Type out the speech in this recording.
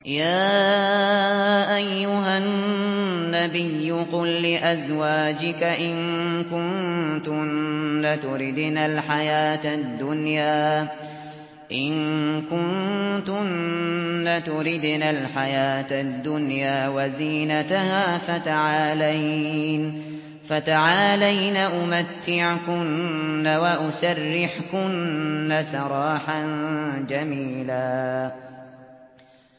يَا أَيُّهَا النَّبِيُّ قُل لِّأَزْوَاجِكَ إِن كُنتُنَّ تُرِدْنَ الْحَيَاةَ الدُّنْيَا وَزِينَتَهَا فَتَعَالَيْنَ أُمَتِّعْكُنَّ وَأُسَرِّحْكُنَّ سَرَاحًا جَمِيلًا